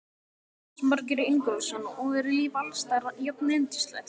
Jónas Margeir Ingólfsson: Og er lífið alls staðar jafnyndislegt?